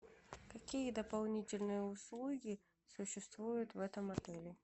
какие дополнительные услуги существуют в этом отеле